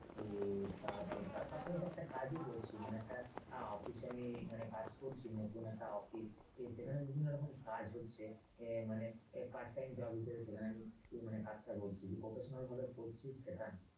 এ তা তো এটা তো তার পাশাপাশি একটা কাজও করছি মানে একটা officially মানে একটা কাজ করছি। নতুন একটা অফিস সেখানে বিভিন্ন রকম কাজ হচ্ছে এ মানে part time job হিসাবে মানে সেখানে আমি কাজটা করছি। যে professional ভাবে করছি সেটা নয়।